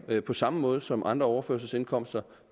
på samme måde som ved andre overførselsindkomster